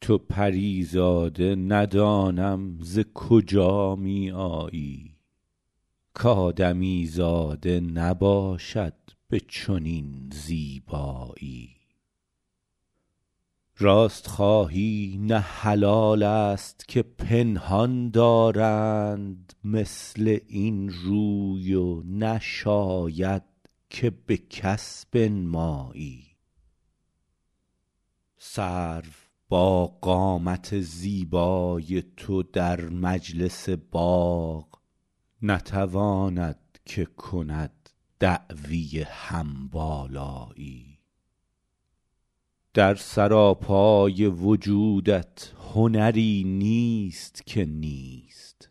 تو پری زاده ندانم ز کجا می آیی کآدمیزاده نباشد به چنین زیبایی راست خواهی نه حلال است که پنهان دارند مثل این روی و نشاید که به کس بنمایی سرو با قامت زیبای تو در مجلس باغ نتواند که کند دعوی هم بالایی در سراپای وجودت هنری نیست که نیست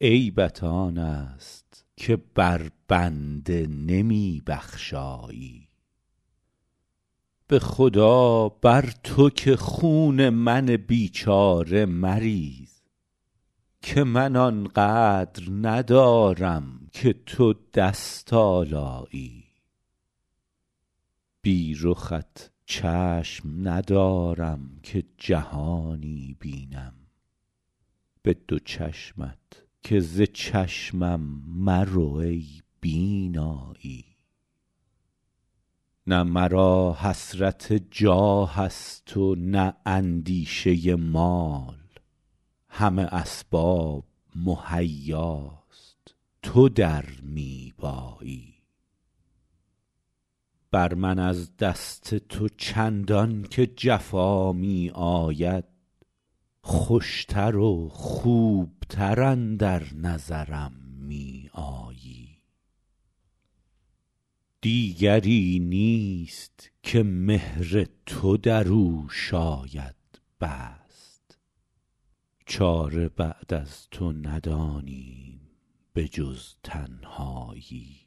عیبت آن است که بر بنده نمی بخشایی به خدا بر تو که خون من بیچاره مریز که من آن قدر ندارم که تو دست آلایی بی رخت چشم ندارم که جهانی بینم به دو چشمت که ز چشمم مرو ای بینایی نه مرا حسرت جاه است و نه اندیشه مال همه اسباب مهیاست تو در می بایی بر من از دست تو چندان که جفا می آید خوش تر و خوب تر اندر نظرم می آیی دیگری نیست که مهر تو در او شاید بست چاره بعد از تو ندانیم به جز تنهایی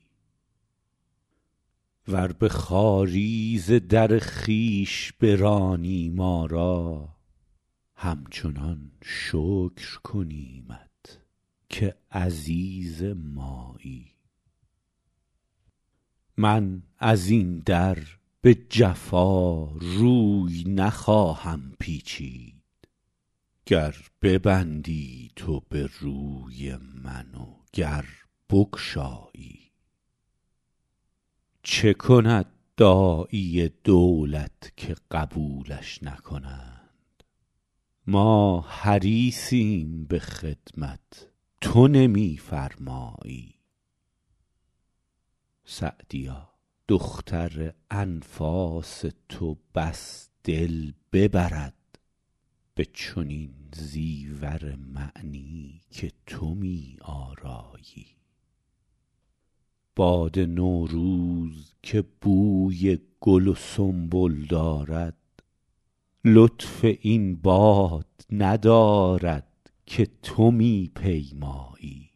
ور به خواری ز در خویش برانی ما را همچنان شکر کنیمت که عزیز مایی من از این در به جفا روی نخواهم پیچید گر ببندی تو به روی من و گر بگشایی چه کند داعی دولت که قبولش نکنند ما حریصیم به خدمت تو نمی فرمایی سعدیا دختر انفاس تو بس دل ببرد به چنین زیور معنی که تو می آرایی باد نوروز که بوی گل و سنبل دارد لطف این باد ندارد که تو می پیمایی